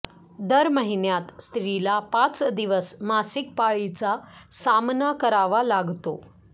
दरमहिन्यात स्त्रिला पाच दिवस मासिक माळीचा सामना करावा लागतो